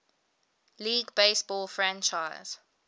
league baseball franchise